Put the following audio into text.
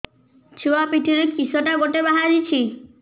ଛୁଆ ପିଠିରେ କିଶଟା ଗୋଟେ ବାହାରିଛି